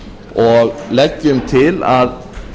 og leggjum til að